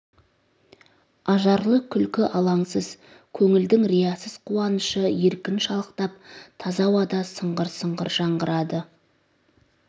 ажарлы күлкі алаңсыз көңілдің риясыз қуанышы еркін шалықтап таза ауада сыңғыр-сыңғыр жаңғырады